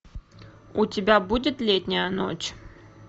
у тебя будет летняя ночь